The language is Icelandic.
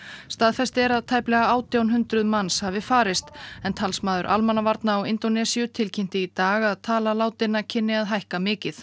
staðfest er að tæplega átján hundruð mannsi hafi farist en talsmaður almannavarna á Indónesíu tilkynnti í dag að tala látinna kynni að hækka mikið